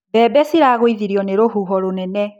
Mbembe ciragũithirio nĩ rũhuho rũnene.